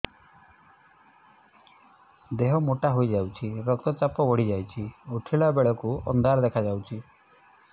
ଦେହ ମୋଟା ହେଇଯାଉଛି ରକ୍ତ ଚାପ ବଢ଼ି ଯାଉଛି ଉଠିଲା ବେଳକୁ ଅନ୍ଧାର ଦେଖା ଯାଉଛି